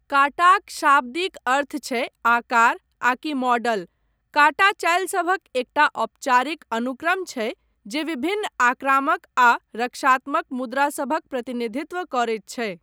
काटाक शाब्दिक अर्थ छै 'आकार' आकि 'मॉडल'। काटा चालिसभक एकटा औपचारिक अनुक्रम छै जे विभिन्न आक्रामक आ रक्षात्मक मुद्रासभक प्रतिनिधित्व करैत छै।